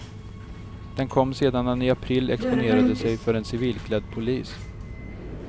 Den kom sedan han i april exponerade sig för en civilklädd polis.